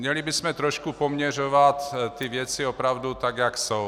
Měli bychom trošku poměřovat ty věci opravdu tak, jak jsou.